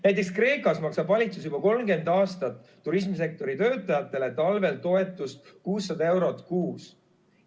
Näiteks Kreekas maksab valitsus juba 30 aastat turismisektori töötajatele talvel toetust 600 eurot kuus.